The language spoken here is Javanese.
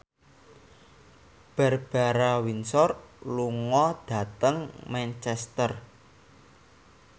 Barbara Windsor lunga dhateng Manchester